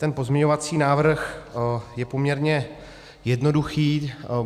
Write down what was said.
Ten pozměňovací návrh je poměrně jednoduchý.